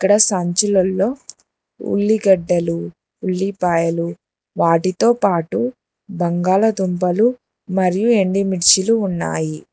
అక్కడ సంచులల్లో ఉల్లిగడ్డలు ఉల్లిపాయలు వాటితో పాటు బంగాళదుంపలు మరియు ఎండి మిర్చీలు ఉన్నాయి.